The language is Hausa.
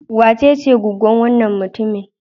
Wacece goggon wannan mutumin?